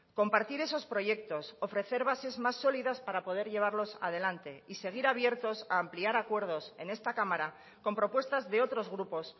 compartir esos proyectos ofrecer bases más sólidas para poder llevarlos adelante y seguir abiertos a ampliar acuerdos en esta cámara con propuestas de otros grupos